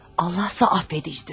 Allahsa bağışlayandır.